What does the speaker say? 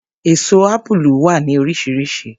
Èso Ápúlú wà ní oríṣiríṣi.